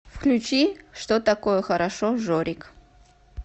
включи что такое хорошо жорик